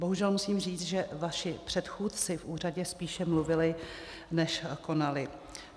Bohužel musím říct, že vaši předchůdci v úřadě spíše mluvili, než konali.